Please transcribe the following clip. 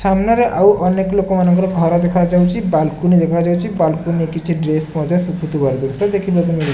ସାମ୍ନାରେ ଆଉ ଅନେକ ଲୋକ ମାନଙ୍କର ଘର ଦେଖାଯାଉଛି। ବାଲକୁନି ଦେଖାଯାଉଛି। ବାଲକୁନି ରେ କିଛି ଡ୍ରେସ ମଧ୍ୟ ଶୁକୁଥିବାର ଦୃଶ୍ୟ ଦେଖିବାକୁ ମିଳୁ --